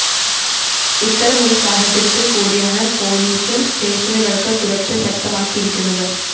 ഇത്തരമൊരു സാഹചര്യത്തില്‍ കൂടിയാണ് പോലീസ് സ്റ്റേഷനുകള്‍ക്ക് സുരക്ഷ ശക്തമാക്കിയിരിക്കുന്നത്